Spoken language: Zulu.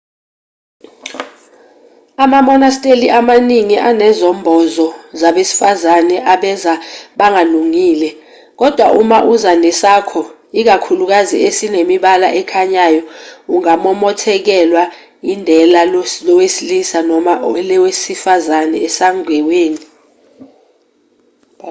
amamonasteli amaningi anezembozo zabesifazane abeza bangalungile kodwa uma uza nesakho ikakhulukazi esinemibala ekhanyayo ungamomothekelwa indela lowesilisa noma elesifazane esangeweni